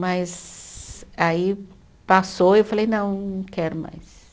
Mas aí passou e eu falei, não, não quero mais.